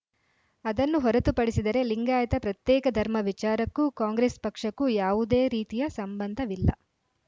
ಅದನ್ನು ಹೊರತುಪಡಿಸಿದರೆ ಲಿಂಗಾಯತ ಪ್ರತ್ಯೇಕ ಧರ್ಮ ವಿಚಾರಕ್ಕೂ ಕಾಂಗ್ರೆಸ್‌ ಪಕ್ಷಕ್ಕೂ ಯಾವುದೇ ರೀತಿಯ ಸಂಬಂಧವಿಲ್ಲ